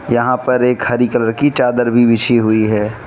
यहां पर एक हरी कलर की चादर भी बिछी हुई है।